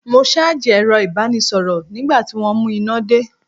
Mo ṣáàjì ẹ̀rọ ìbánisọ̀rọ̀ nígbà tí wọ́n mú iná dé.